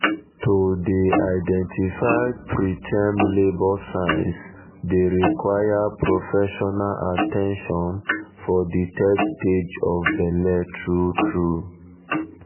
to dey um identify preterm labour signs dey require professional at ten tion for de third stage third stage of belle true true